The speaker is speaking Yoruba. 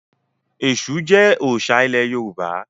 Ẹ̀ṣù jẹ́ òòṣà ilẹ̀ Yorùbá.